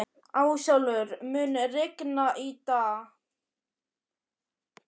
Ásólfur, mun rigna í dag?